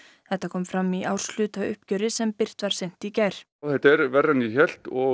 þetta kom fram í árshlutauppgjöri sem birt var seint í gær þetta er verra en ég hélt